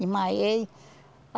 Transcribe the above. Desmaiei.